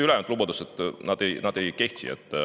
Ülejäänud lubadused ei kehti.